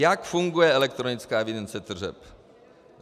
Jak funguje elektronická evidence tržeb?